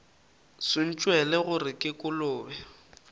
se ntšwele gore ke kolobe